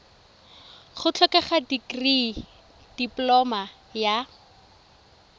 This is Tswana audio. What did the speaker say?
go tlhokega dikirii dipoloma ya